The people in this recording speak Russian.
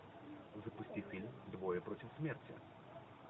запусти фильм двое против смерти